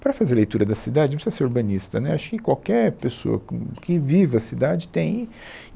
Para fazer a leitura da cidade, não precisa ser urbanista, né, acho que qualquer pessoa com, que viva a cidade tem.